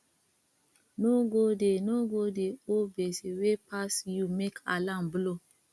no go dey no go dey owe gbese wey pass yu mek alarm blow